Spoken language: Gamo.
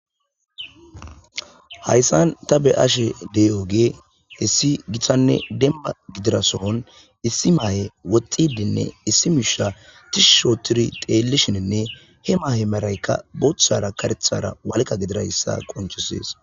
hayssan ta be7ashe dey7ogee hissi githanne demba gidira sohon issi maaye woxxidinne issi miisha tishushooturi teellishininne he maahe maraykka booththara karethara walqa gidirayssa qonchisees